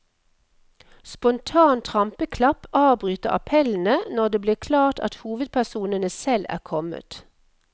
Spontan trampeklapp avbryter appellene når det blir klart at hovedpersonene selv er kommet.